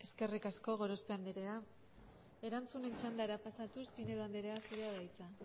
eskerrik asko gorospe anderea erantzunen txandara pasatuz pinedo anderea zurea da hitza